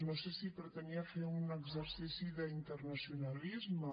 no sé si pretenia fer un exercici d’internacionalisme